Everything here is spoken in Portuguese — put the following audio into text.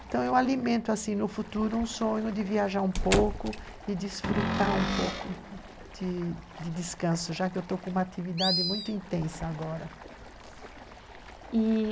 Então, eu alimento assim, no futuro, um sonho de viajar um pouco e desfrutar um pouco de descanso, já que eu estou com uma atividade muito intensa agora, e...